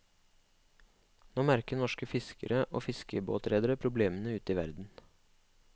Nå merker norske fiskere og fiskebåtredere problemene ute i verden.